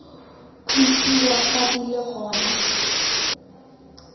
tlosiwa fa di le gona